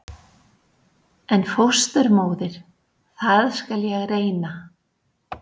En fósturmóðir- það skal ég reyna.